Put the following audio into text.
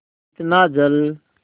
इतना जल